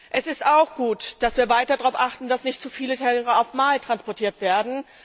Es ist auch gut, dass wir weiter darauf achten, dass nicht zu viele Tiere auf einmal transportiert werden.